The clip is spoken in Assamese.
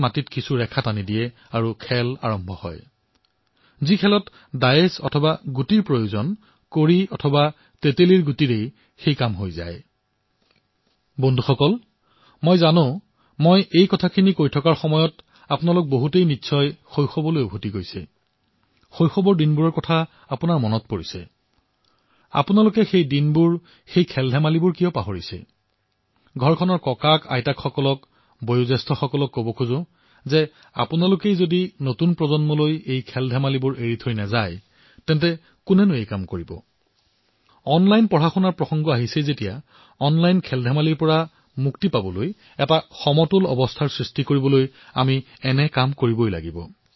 মই এয়াই কম যে আপুনি সেইদিনবোৰ পাহৰিছে কিয় সেই খেলসমূহ আপুনি পাহৰিছে কিয় মই ঘৰৰ ককাআইতা ঘৰৰ বয়স্ক সকলোকে আহ্বান জনাইইছো যে নতুন প্ৰজন্মক যদি এই খেলবোৰৰ বিষয়ে নজনায় তেন্তে কোনে কৰিব যেতিয়া অনলাইন পঢ়াৰ কথা কোৱা হৈছে তেন্তে ভাৰসাম্য বজাই ৰাখিবলৈ অনলাইন খেলৰ পৰা মুক্তি পাবলৈ আমি এনে কৰিবই লাগিব